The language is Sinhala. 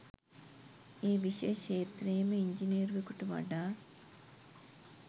ඒ විෂය ක්ෂේත්‍රයේම ඉංජිනේරුවෙකුට වඩා